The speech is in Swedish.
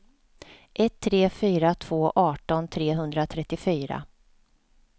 ett tre fyra två arton trehundratrettiofyra